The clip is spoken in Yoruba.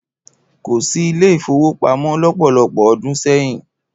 Kò sí ilé-ìfówopamọ́ lọ́pọ̀lọpọ̀ ọdún sẹ́yìn.